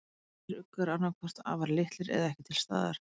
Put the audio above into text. Aðrir uggar eru annað hvort afar litlir eða ekki til staðar.